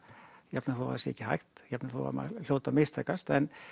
jafnvel þó að það sé ekki hægt jafnvel þó að það hljóti að mistakast en